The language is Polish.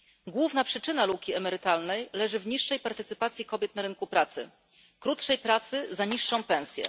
Główna przyczyna luki emertytalnej leży w niższej partycypacji kobiet w rynku pracy, krótszej pracy za niższą pensję.